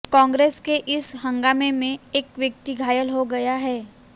कांग्रेस के इस हंगामे में एक व्यक्ति घायल हो गया है